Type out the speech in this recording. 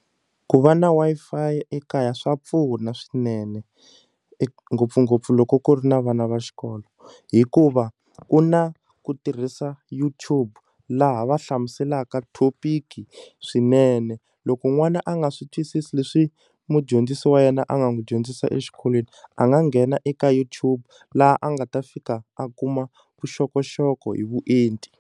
Ku va na Wi-Fi ekaya swa pfuna swinene ngopfungopfu loko ku ri na vana va xikolo hikuva ku na ku tirhisa YouTube laha va hlamuselaka topic swinene loko n'wana a nga swi twisisi leswi mudyondzisi wa yena a nga n'wi dyondzisa exikolweni a nga nghena eka YouTube laha a nga ta fika a kuma vuxokoxoko hi vuenti.